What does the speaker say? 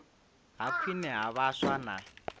ha khwine ha vhaswa na